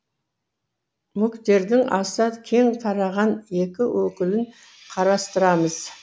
мүктердің аса кең тараған екі өкілін қарастырамыз